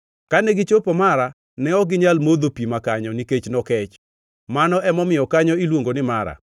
Kane gichopo Mara, ne ok ginyal modho pi makanyo nikech nokech. (Mano emomiyo kanyo iluongo ni Mara.)